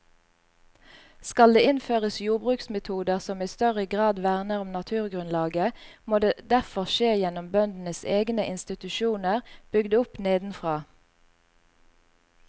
Skal det innføres jordbruksmetoder som i større grad verner om naturgrunnlaget, må det derfor skje gjennom bøndenes egne institusjoner bygd opp nedenfra.